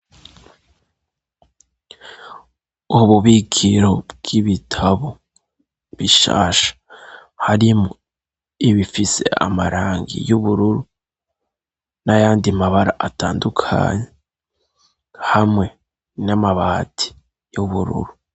Ububikiro bw'ibitabo bishasha harimwo ibifise amarangi y'ubururu n'ayandi mabara atandukanye hamwe n'amabati y'ubururu.